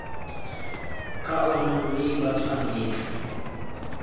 ka ona mme ba tshwanetse